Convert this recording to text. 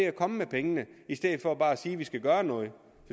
at komme med pengene i stedet for bare at sige at man skal gøre noget